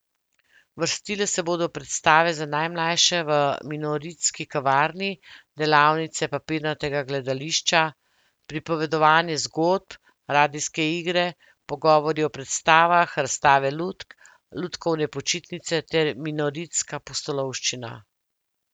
Vrstile se bodo predstave za najmlajše v Minoritski kavarni, delavnice papirnatega gledališča, pripovedovanje zgodb, radijske igre, pogovori o predstavah, razstave lutk, lutkovne počitnice ter Minoritska pustolovščina.